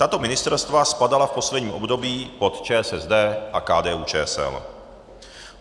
Tato ministerstva spadala v posledním období pod ČSSD a KDU-ČSL.